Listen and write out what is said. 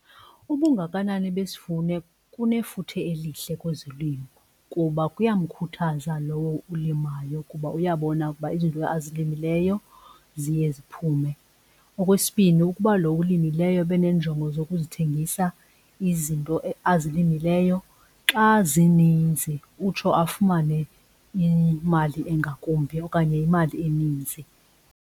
Ubungakanani besivuno kunefuthe elihle kwezolimo kuba kuyamkhuthaza lowo ulimayo ukuba uyabona ukuba izinto azilimileyo ziye ziphume. Okwesibini ukuba lo ulimileyo ebeneenjongo zokuthengisa izinto azilimileyo xa zinintsi utsho afumane imali engakumbi okanye imali eninzi.